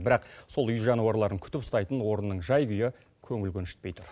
бірақ сол үй жануарларын күтіп ұстайтын орынның жай күйі көңіл көншітпей тұр